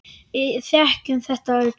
Við þekkjum þetta öll.